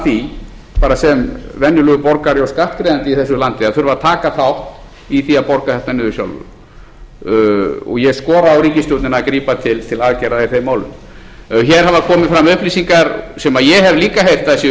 því bara sem venjulegur borgari og skattgreiðandi í þessu landi að þurfa að taka þátt í því að borga þetta niður sjálfur og ég skora á ríkisstjórnina að taka til aðgerða í þeim málum hér hafa komið fram upplýsingar sem ég hef líka heyrt að séu